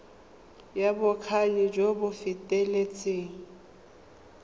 ya bokgoni jo bo feteletseng